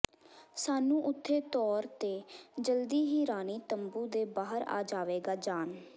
ਸਾਨੂੰ ਉੱਥੇ ਤੌਰ ਤੇ ਜਲਦੀ ਹੀ ਰਾਣੀ ਤੰਬੂ ਦੇ ਬਾਹਰ ਆ ਜਾਵੇਗਾ ਜਾਣ